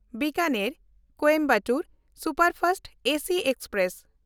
ᱵᱤᱠᱟᱱᱮᱨ–ᱠᱚᱭᱮᱢᱵᱟᱴᱩᱨ superfast AC express